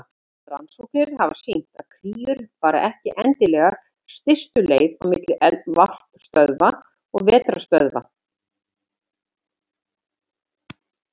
Rannsóknir hafa sýnt að kríur fara ekki endilega stystu leið á milli varpstöðva og vetrarstöðva.